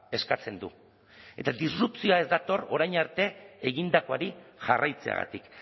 eskatzen du eta disrupzioa ez dator orain arte egindakoari jarraitzeagatik